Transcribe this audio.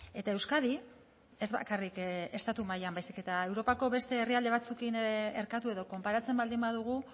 eta euskadi ez bakarrik estatu mailan baizik eta europako beste herrialde batzuekin erkatu edo konparatzen baldin badugu